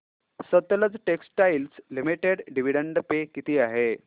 Sutlej textiles limited dividend pay किती आहे